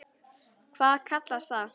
Hvað kallast það?